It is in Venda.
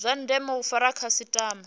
zwa ndeme u fara khasitama